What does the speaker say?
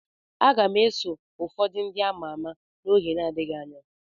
Aga m eso ụfọdụ ndị ama ama n'oge n'adịghị anya.